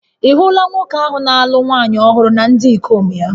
Ị̀ hụla nwoke ahụ na-alụ nwaanyị ọhụrụ na ndị ikom ya?